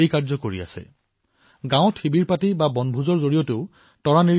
তৰা নিৰীক্ষণৰ জৰিয়তে গ্ৰামীণ শিবিৰ আৰু গ্ৰামীণ বনভোজো অনুষ্ঠিত কৰিব পাৰি